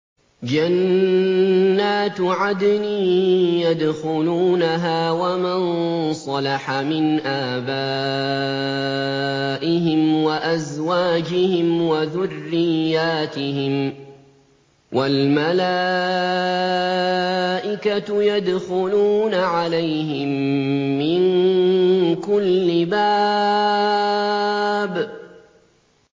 جَنَّاتُ عَدْنٍ يَدْخُلُونَهَا وَمَن صَلَحَ مِنْ آبَائِهِمْ وَأَزْوَاجِهِمْ وَذُرِّيَّاتِهِمْ ۖ وَالْمَلَائِكَةُ يَدْخُلُونَ عَلَيْهِم مِّن كُلِّ بَابٍ